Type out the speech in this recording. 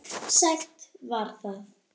Sætt var það.